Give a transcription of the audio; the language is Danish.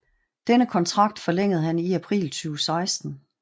Denne kontrakt forlængede han i april 2016